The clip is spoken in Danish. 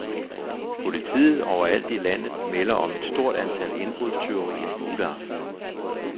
Politiet overalt i landet melder om et stort antal indbrudstyverier juleaften.